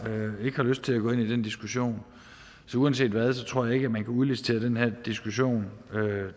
ikke har lyst til at gå ind i den diskussion så uanset hvad tror jeg ikke man kan udlicitere den her diskussion